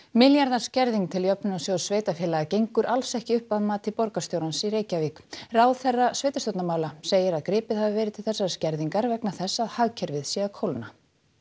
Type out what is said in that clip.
milljarða skerðing til Jöfnunarsjóðs sveitarfélaga gengur alls ekki upp að mati borgarstjórans í Reykjavík ráðherra sveitarstjórnarmála segir að gripið hafi verið til þessarar skerðingar vegna þess að hagkerfið sé að kólna